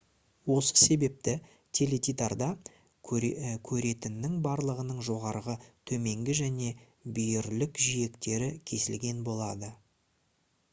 осы себепті теледидарда көретіннің барлығының жоғарғы төменгі және бүйірлік жиектері кесілген болады